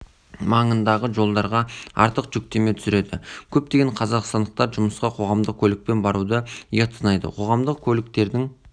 маңындағы жолдарға артық жүктеме түсіреді көптеген қазақстандықтар жұмысқа қоғамдық көлікпен баруды ұят санайды қоғамдық көліктердің